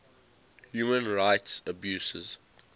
human rights abuses